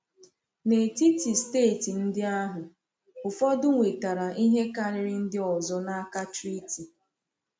N’etiti steeti ndị ahụ, ụfọdụ nwetara ihe karịrị ndị ọzọ n’aka treaty.